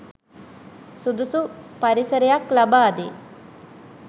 සුදුසු පරිසරයක් ලබාදේ